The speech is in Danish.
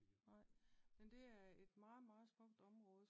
Nej. Men det er meget meget smukt område